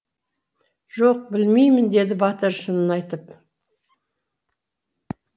жоқ білмеймін деді батыр шынын айтып